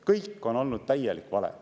Kõik on olnud täielik vale.